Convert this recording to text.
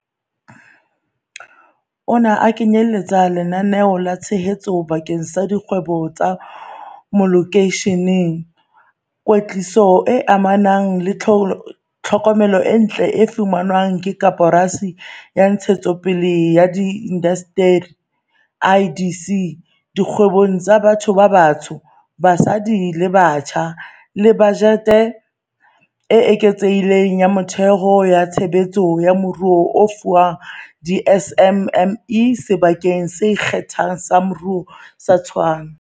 Ona a kenyeletsa lenaneo la tshehetso bakeng sa dikgwebo tsa malokeisheneng, kwetliso e amanang le thomelontle e fanwang ke Koporasi ya Ntshetsopele ya Diindasteri, IDC, dikgwebong tsa batho ba batsho, basadi le batjha, le bajete e eketsehileng ya metheo ya tshebetso ya moruo e fuwang di-SMME Sebakeng se Ikgethang sa Moruo sa Tshwane.